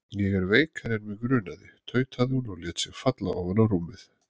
Ég er veikari en mig grunaði tautaði hún og lét sig falla ofan á rúmið.